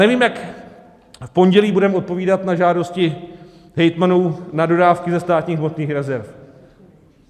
Nevím, jak v pondělí budeme odpovídat na žádosti hejtmanů na dodávky ze státních hmotných rezerv.